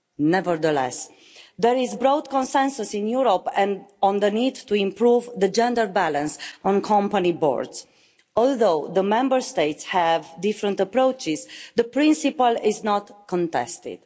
Nevertheless, there is broad consensus in Europe on the need to improve the gender balance on company boards. Although the Member States have different approaches the principle is not contested.